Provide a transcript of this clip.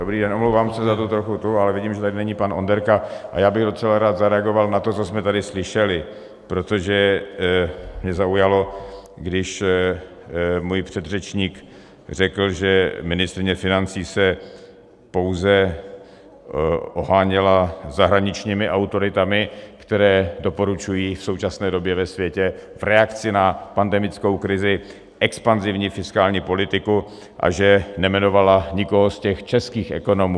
Dobrý den, omlouvám se za tu trochu tu, ale vidím, že tady není pan Onderka, a já bych docela rád zareagoval na to, co jsme tady slyšeli, protože mě zaujalo, když můj předřečník řekl, že ministryně financí se pouze oháněla zahraničními autoritami, které doporučují v současné době ve světě v reakci na pandemickou krizi expanzivní fiskální politiku, a že nejmenovala nikoho z těch českých ekonomů.